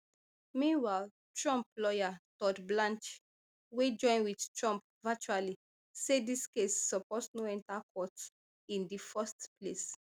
meanwhile trump lawyer todd blanche wey join wit trump virtually say dis case suppose no enta court in di first place